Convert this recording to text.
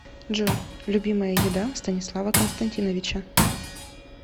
джой любимая еда станислава константиновича